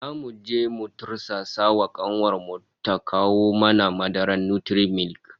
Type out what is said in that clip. Zamu je mu tursasa wa kanuwar mu ta kawo mana madarar Nutri-milk